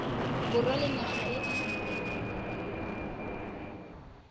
borwa le naga e e